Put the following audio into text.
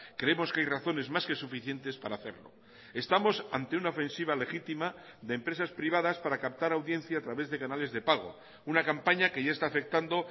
creemos que hay razones más que suficientes para hacerlo estamos ante una ofensiva legítima de empresas privadas para captar audiencia a través de canales de pago una campaña que ya está afectando